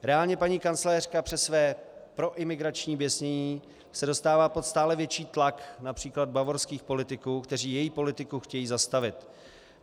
Reálně paní kancléřka přes své proimigrační běsnění se dostává pod stále větší tlak například bavorských politiků, kteří její politiku chtějí zastavit.